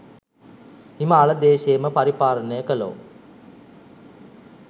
හිමාල දේශයම පරිපාලනය කළෝ,